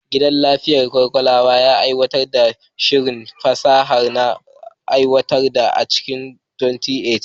Gidan lafiyar ƙwaƙwalwa ya aiwatar da shirin fasaha na warkewa a cikin 2018.